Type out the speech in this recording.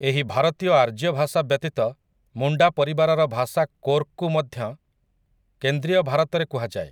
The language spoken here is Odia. ଏହି ଭାରତୀୟ ଆର୍ଯ୍ୟ ଭାଷା ବ୍ୟତୀତ ମୁଣ୍ଡା ପରିବାରର ଭାଷା କୋର୍କୁ ମଧ୍ୟ କେନ୍ଦ୍ରୀୟ ଭାରତରେ କୁହାଯାଏ ।